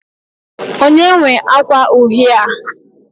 onye nwe akwa uhie a?